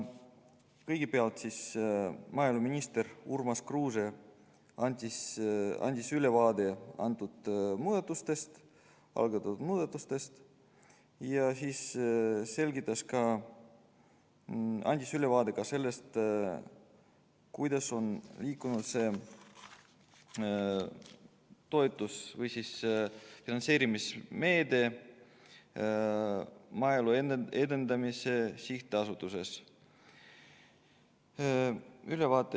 Kõigepealt andis maaeluminister Urmas Kruuse ülevaate kavandatud muudatustest ja ka sellest, kuidas see toetus- või finantseerimismeede on Maaelu Edendamise Sihtasutuses liikunud.